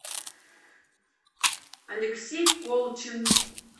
алексей колчин